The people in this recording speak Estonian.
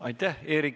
Aitäh!